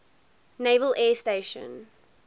naval air station